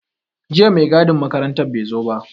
Jiya mai gadin makarantar bai zo ba.